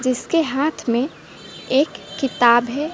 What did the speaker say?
जिसके हाथ में एक किताब है।